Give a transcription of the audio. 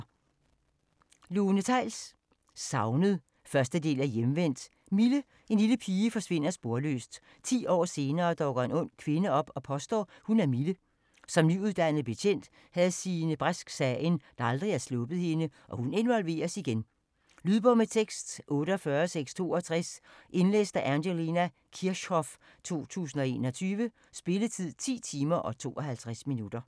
Theils, Lone: Savnet 1. del af Hjemvendt. Mille, en lille pige, forsvinder sporløst. 10 år senere dukker en ung kvinde op og påstår, hun er Mille. Som nyuddannet betjent havde Signe Brask sagen, der aldrig har sluppet hende, og hun involveres igen. Lydbog med tekst 48662 Indlæst af Angelina Kirchhoff, 2021. Spilletid: 10 timer, 52 minutter.